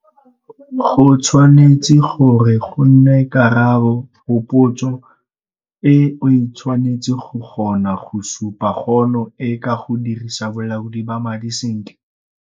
Go tshwanetse gore go nne karabo go potso e - o tshwanetse go kgona go supa kgono e ka go dirisa bolaodi ba madi sentle.